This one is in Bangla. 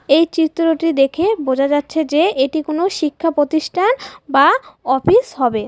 এই চিত্রটি দেখে বোঝা যাচ্ছে যে এটি কোনো শিক্ষা প্রতিষ্ঠান বা অফিস হবে।